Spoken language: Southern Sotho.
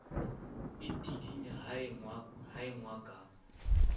e tidinya ha engwa ka